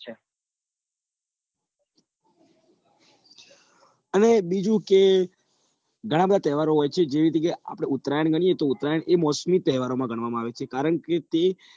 અને બીજુ કે ઘણા બધા તહેવારો હોય છે જેવી રીતે ઉત્તરાયણ ગણીએ કે ઉત્તરાયણ એ મોસમી તહેવારોમાં ગણવામાં આવે છે કારણ કે તે